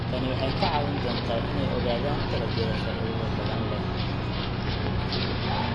Tani waxay ka caawin doontaa inay ogaadaan dalagyada faa'iidada badan leh.